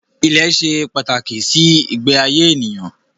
Ilẹ̀ ṣe pàtàkì sí ìgbé ayé ènìyàn